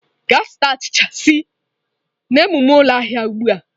Gaa zụta achịcha si n'ememe ụlọ ahịa ugbu a!